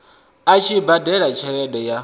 a tshi badela tshelede ya